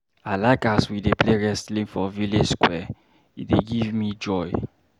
I like as we dey play wrestling for village square, e dey give me joy.